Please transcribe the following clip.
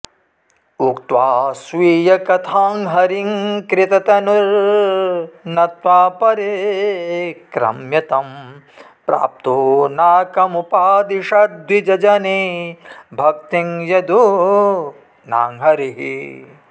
उक्त्वा स्वीयकथां हरिं कृतनुतिर्नत्वा परिक्रम्य तं प्राप्तो नाकमुपादिशद्विजजने भक्तिं यदूनां हरिः